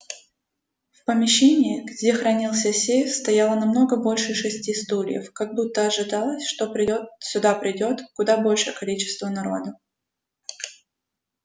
в помещении где хранился сейф стояло намного больше шести стульев как будто ожидалось что придёт сюда придёт куда большее количество народа